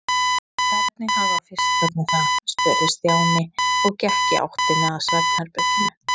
Hvernig hafa fiskarnir það? spurði Stjáni og gekk í áttina að svefnherberginu.